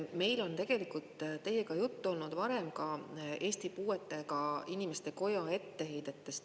Meil on tegelikult teiega juttu olnud varem ka Eesti Puuetega Inimeste Koja etteheidetest.